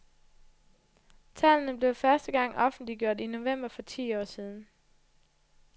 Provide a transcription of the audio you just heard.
Tallene blev første gang offentliggjort i november for ti år siden.